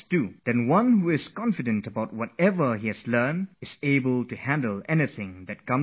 On the other hand, students who have the confidence in what they know are able to tackle whatever comes in the question paper